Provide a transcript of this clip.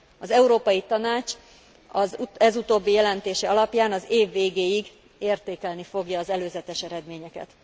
Az Európai Tanács ez utóbbi jelentése alapján az év végéig értékelni fogja az előzetes eredményeket.